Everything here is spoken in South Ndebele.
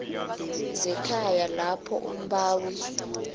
zekhaya lapho umbawi